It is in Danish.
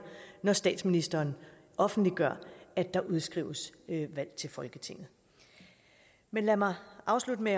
når statsministeren offentliggør at der udskrives valg til folketinget lad mig afslutte med